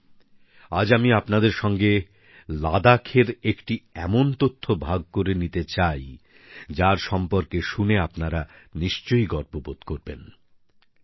বন্ধুরা আজ আমি আপনাদের সঙ্গে লাদাখের একটি এমন তথ্য ভাগ করে নিতে চাই যার সম্পর্কে শুনে আপনার নিশ্চয়ই গর্ববোধ হবে